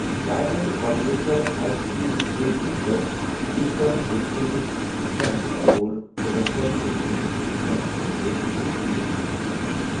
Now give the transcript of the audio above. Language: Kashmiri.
Diamond quadrilateral high speed rail network, eastern dedicated freight corridor تہٕ وٮ۪سٹرن ڈیڈیکیٹڈ فریٹ کوریڈور چھِ ہریانہ مٔنٛزِ نیران ۔